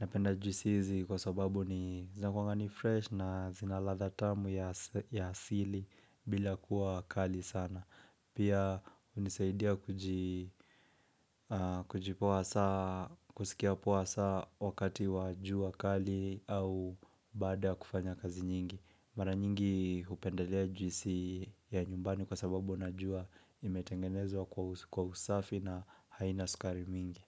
Napenda juisi hizi kwa sababu ni zinakuanga ni fresh na zina ladha tamu ya asili bila kuwa kali sana. Pia hunisaidia kujipoa saa, kusikia poa saa wakati wa jua kali au baada ya kufanya kazi nyingi. Mara nyingi hupendelea juisi ya nyumbani kwa sababu najua imetengenezwa kwa usafi na haina sukari mingi.